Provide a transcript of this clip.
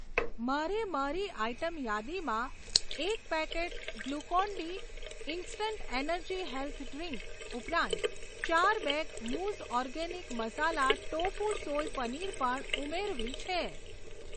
મારે મારી આઇટમ યાદીમાં એક packet Glucon D instant energy health drink ઉપરાંત ચાર બેગ મૂઝ organic masala tofu soy paneer પણ ઉમેરવી છે.